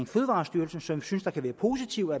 fødevarestyrelsen som vi synes kan være positive